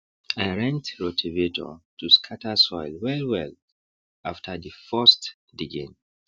i rent rotavator to scatter soil wellwell after the first diging